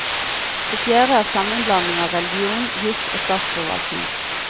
Det fjerde er sammenblandingen av religion, jus og statsforvaltning.